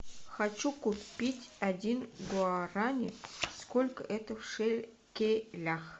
хочу купить один гуарани сколько это в шекелях